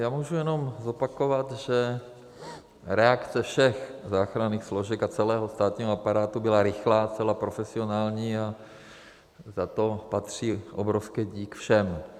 Já můžu jenom zopakovat, že reakce všech záchranných složek a celého státního aparátu byla rychlá, zcela profesionální a za to patří obrovský dík všem.